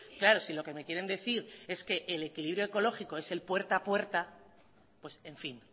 claro si lo que me quieren decir es que el equilibrio ecológico es el puerta a puerta pues en fin